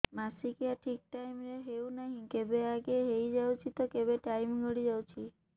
ମାସିକିଆ ଠିକ ଟାଇମ ରେ ହେଉନାହଁ କେବେ ଆଗେ ହେଇଯାଉଛି ତ କେବେ ଟାଇମ ଗଡି ଯାଉଛି